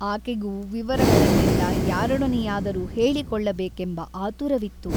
ಆಕೆಗೂ ವಿವರಗಳನ್ನೆಲ್ಲ ಯಾರೊಡನೆಯಾದರೂ ಹೇಳಿಕೊಳ್ಳಬೇಕೆಂಬ ಆತುರವಿತ್ತು.